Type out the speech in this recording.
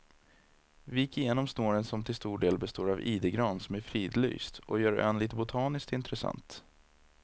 Vi gick igenom snåren som till stor del består av idegran som är fridlyst och gör ön lite botaniskt intressant.